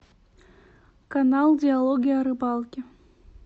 канал диалоги о рыбалке